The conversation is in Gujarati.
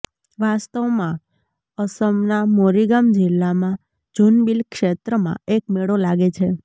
વાસ્તવમાં અસમના મોરીગામ જિલ્લામાં જૂનબિલ ક્ષેત્રમાં એક મેળો લાગે છે